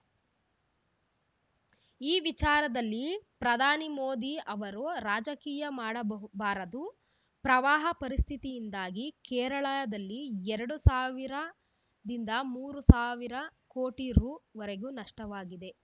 ಈ ವಿಚಾರದಲ್ಲಿ ಪ್ರಧಾನಿ ಮೋದಿ ಅವರು ರಾಜಕೀಯ ಮಾಡಬಾಹು ಬಾರದು ಪ್ರವಾಹ ಪರಿಸ್ಥಿತಿಯಿಂದಾಗಿ ಕೇರಳದಲ್ಲಿ ಎರಡು ಸಾವಿರದಿಂದ ಮೂರು ಸಾವಿರ ಕೋಟಿ ರುವರೆಗೂ ನಷ್ಟವಾಗಿದೆ